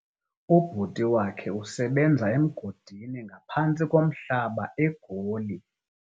Ubhuti wakhe usebenza emgodini ngaphantsi komhlaba eGoli.